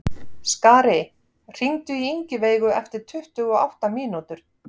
Skari, hringdu í Ingiveigu eftir tuttugu og átta mínútur.